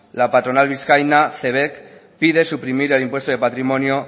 la patronal vizcaína cebek pide suprimir el impuesto de patrimonio